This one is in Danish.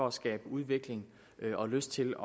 at skabe udvikling og lyst til